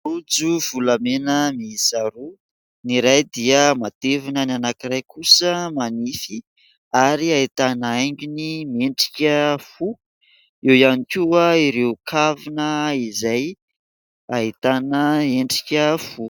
Rojo volamena miisa roa : ny iray dia matevina, ny anankiray kosa manify ary ahitana haingony miendrika fo. Eo ihany koa ireo kavina izay ahitana endrika fo.